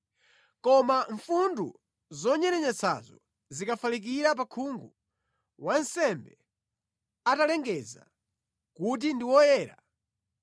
Koma mfundu zonyerenyetsazo zikafalikira pa khungu, wansembe atalengeza kuti ndi woyera,